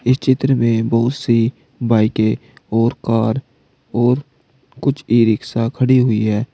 इस चित्र में बहुत से बाइके और कार और कुछ ई रिक्शा खड़ी हुई है।